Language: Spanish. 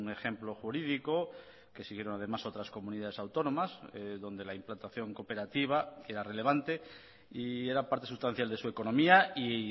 ejemplo jurídico que siguieron además otras comunidades autónomas donde la implantación cooperativa era relevante y era parte sustancial de su economía y